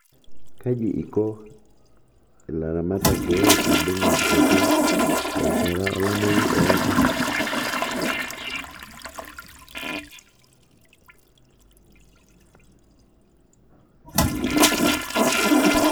Kaji iko ilaramatak pee ibung' enkitotio te rishata olameyu oodo?